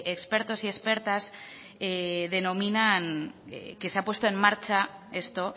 expertos y expertas denominan que se ha puesto en marcha esto